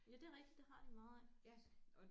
Ja det er rigtigt det har de meget af faktisk